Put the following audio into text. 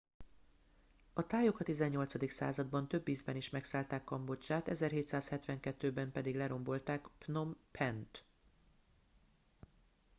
a thaiok a 18. században több ízben is megszállták kambodzsát,1772-ben pedig lerombolták phnom phen-t